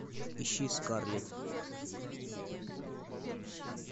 ищи скарлетт